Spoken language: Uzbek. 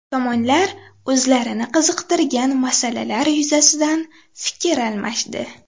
Tomonlar o‘zlarini qiziqtirgan masalalar yuzasidan fikr almashdi.